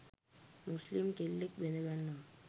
මුස්ලිම් කෙල්ලක් බැදගන්නවා.